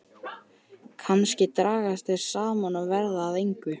Kannski dragast þau saman og verða að engu.